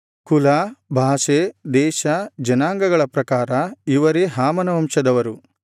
ಕುಲ ಭಾಷೆ ದೇಶ ಜನಾಂಗಗಳ ಪ್ರಕಾರ ಇವರೇ ಹಾಮನ ವಂಶದವರು